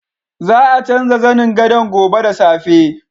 Za a canza zanin gadon gobe da safe.